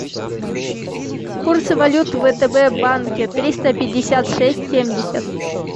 курсы валюты в втб банке триста пятьдесят шесть семьдесят